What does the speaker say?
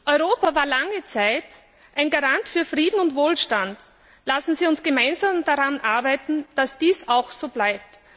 Europa war lange Zeit ein Garant für Frieden und Wohlstand. Lassen Sie uns gemeinsam daran arbeiten, dass dies auch so bleibt.